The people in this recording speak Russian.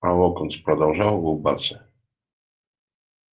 а локонс продолжал улыбаться